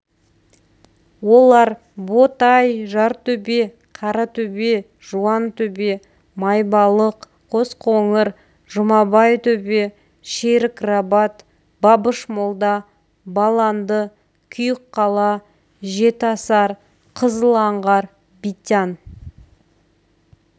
олар ботай жартөбе қаратөбе жуантөбе майбалық қосқоңыр жұмабай төбе шерік-рабат бабыш-молда баланды күйік қала жетіасар қызыл аңғар битянь